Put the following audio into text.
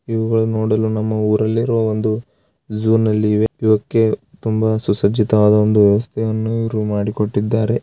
ಇವುಗಳನ್ನು ನೋಡಲು ನಮ್ಮ ಊರಲ್ಲಿರುವ ಒಂದು ಝು ನಲ್ಲಿ ಇವೆ ಇವಕ್ಕೆ ತುಂಬಾ ಸುಸಜ್ಜಿತವಾದ ಒಂದು ವ್ಯವಸ್ಥೆಯನ್ನು ಇವರು ಮಾಡಿ ಕೊಟ್ಟಿದ್ದಾರೆ.